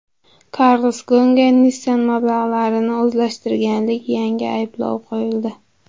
Karlos Gonga Nissan mablag‘larini o‘zlashtirganlik yangi ayblovi qo‘yildi.